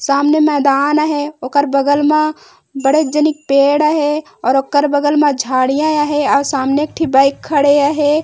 सामने मैदान अहे उकर बगल मा बड़े जनिक पेड़ अहे और उकर बगल झाड़ियां अहे और सामने एक ठी बाइक आहे --